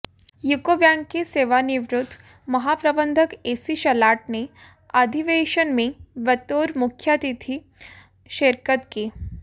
UCO bank के सेवानिवृत्त महाप्रबंधक एसी शलाठ ने अधिवेशन में बतौर मुख्यातिथि शिरकत की